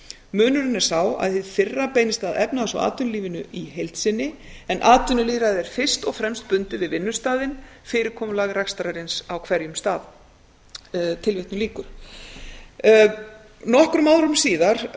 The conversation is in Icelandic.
munurinn er sá að hið fyrra beinist að efnahags og atvinnulífinu í heild sinni en atvinnulýðræði er fyrst og fremst bundið við vinnustaðinn fyrirkomulag rekstrarins á hverjum stað nokkrum árum síðar